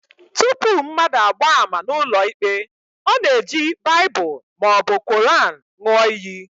Tupu mmadụ agbaa ama n'ụlọikpe, ọ na-eji Baịbụl maọbụ Quran ṅụọ iyi